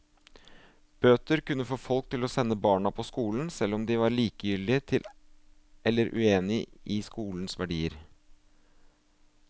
Bøter kunne få folk til å sende barna på skolen, selv om de var likegyldige til eller uenige i skolens verdier.